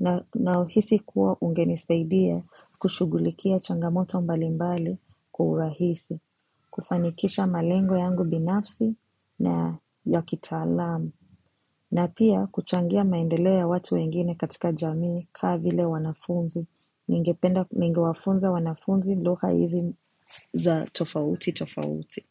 na nauhisi kuwa ungenisaidia kushughulikia changomoto mbalimbali kwa urahisi kufanikisha malengo yangu binafsi na ya kitaalam na pia kuchangia maendeleo ya watu wengine katika jamii kaa vile wanafunzi ningependa ningewafunza wanafunzi lugha hizi za tofauti tofauti.